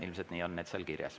Ilmselt nii on need seal kirjas.